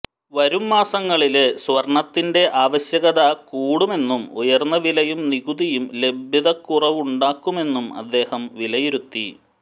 വരും മാസങ്ങളില് സ്വര്ണത്തിന്റെ ആവശ്യകത കൂടുമെന്നും ഉയര്ന്ന വിലയും നികുതിയും ലഭ്യതക്കുറവുണ്ടാക്കുമെന്നും അദ്ദേഹം വിലയിരുത്തി